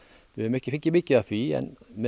við höfum ekki fengið mikið af því en með